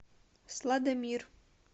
сладомир